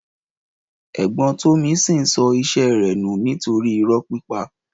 Ẹ̀gbọ́n tọmisin sọ ise rẹ nú nitori ìró pípà.